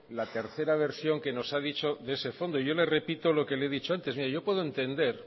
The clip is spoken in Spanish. la tercera versión que nos ha dicho de ese fondo yo le repito lo que le he dicho antes mira yo puedo entender